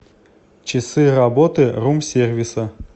часы работы рум сервиса